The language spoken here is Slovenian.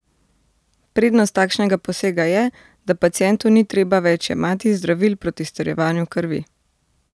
Prednost takšnega posega je, da pacientu ni treba več jemati zdravil proti strjevanju krvi.